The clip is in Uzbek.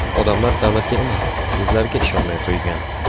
Odamlar davlatga emas, sizlarga ishonmay qo‘ygan.